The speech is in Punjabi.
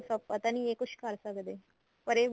ਆਪਾਂ ਤਾਂ ਨੀ ਇਹ ਕੁੱਝ ਕਰ ਸਕਦੇ ਪਰ ਇਹ